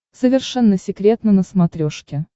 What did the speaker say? совершенно секретно на смотрешке